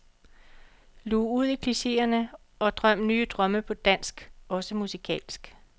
Lug ud i klicheerne og drøm nye drømme på dansk, også musikalsk.